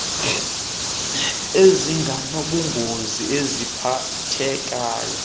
uneenkcukacha ezinganobungozi eziphathekayo